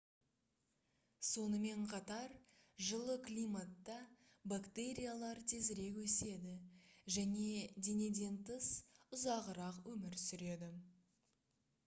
сонымен қатар жылы климатта бактериялар тезірек өседі және денеден тыс ұзағырақ өмір сүреді